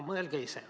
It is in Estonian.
Mõelge ise.